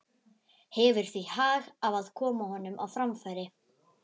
Hefur því hag af að koma honum á framfæri.